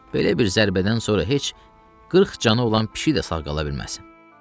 Belə bir zərbədən sonra heç qırx canı olan kişi də sağ qala bilməz.